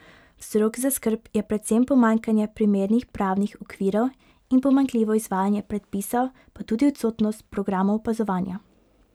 Vzrok za skrb je predvsem pomanjkanje primernih pravnih okvirov in pomanjkljivo izvajanje predpisov pa tudi odsotnost programov opazovanja.